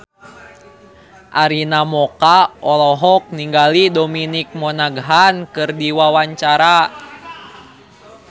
Arina Mocca olohok ningali Dominic Monaghan keur diwawancara